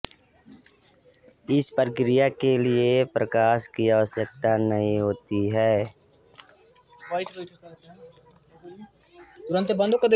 इस प्रक्रिया के लिए प्रकाश की आवश्यकता नहीं होती है